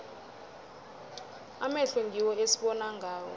amehlo ngiwo esibona ngawo